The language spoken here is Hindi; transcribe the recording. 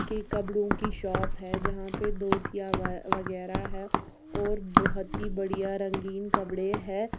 के कपड़ों की शॉप है जहाँ पे धोतिया व्य वगैरह है और बहुत ही बढ़िया रंगीन कपड़े है।